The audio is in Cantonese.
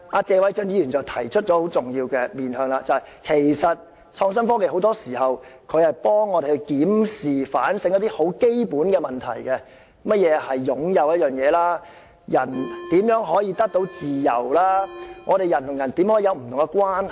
謝偉俊議員提出了很重要的面向，就是創新科技很多時候幫助我們檢視和反省一些很基本的問題，例如何謂"擁有"一件物品、人如何可以得到自由、人與人之間怎樣建立不同關係等。